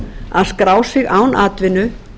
að skrá sig án atvinnu